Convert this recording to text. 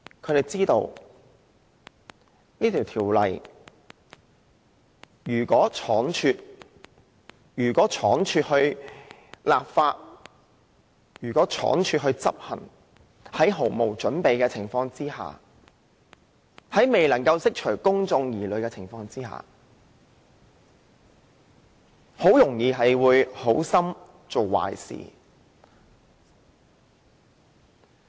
他們知道如果此修訂規例倉卒通過執行，在毫無準備的情況下，在未能釋除公眾疑慮的情況下，政府很容易"好心做壞事"。